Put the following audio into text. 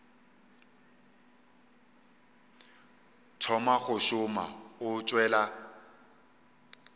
thoma go šoma o tšwela